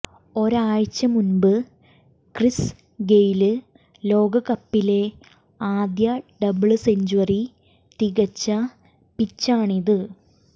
ഒരാഴ്ച മുമ്പ് Chris Gayle ലോകകപ്പിലെ ആദ്യ ഡബിള്സെഞ്ച്വറി തികച്ച പിച്ചാണിത്